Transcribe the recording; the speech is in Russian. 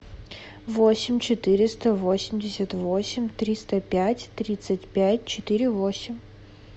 восемь четыреста восемьдесят восемь триста пять тридцать пять четыре восемь